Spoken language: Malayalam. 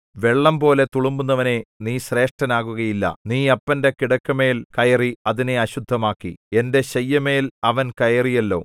വെള്ളംപോലെ തുളുമ്പുന്നവനേ നീ ശ്രേഷ്ഠനാകുകയില്ല നീ അപ്പന്റെ കിടക്കമേൽ കയറി അതിനെ അശുദ്ധമാക്കി എന്റെ ശയ്യമേൽ അവൻ കയറിയല്ലോ